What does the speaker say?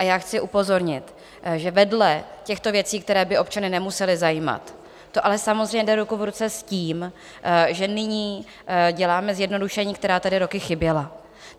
A já chci upozornit, že vedle těchto věcí, které by občany nemusely zajímat, to ale samozřejmě jde ruku v ruce s tím, že nyní děláme zjednodušení, která tady roky chyběla.